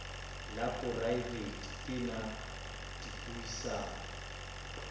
la poraevete ke na dipuisanong